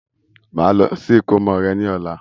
Màá lọ sí ìkómọ rẹ ní ọ̀la